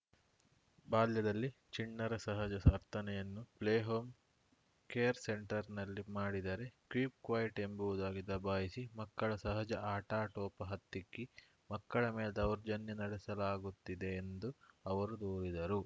ಬಾಲ್ಯದಲ್ಲಿ ಚಿಣ್ಣರ ಸಹಜ ಸ ವರ್ತನೆಯನ್ನು ಪ್ಲೇ ಹೋಂ ಕೇರ್‌ ಸೆಂಟರ್‌ನಲ್ಲಿ ಮಾಡಿದರೆ ಕೀಪ್‌ ಕ್ವೈಟ್‌ ಎಂಬುವುದಾಗಿ ದಬಾಯಿಸಿ ಮಕ್ಕಳ ಸಹಜ ಆಟಾಟೋಪ ಹತ್ತಿಕ್ಕಿ ಮಕ್ಕಳ ಮೇಲೆ ದೌರ್ಜನ್ಯ ನಡೆಸಲಾಗುತ್ತಿದೆ ಎಂದು ಅವರು ದೂರಿದರು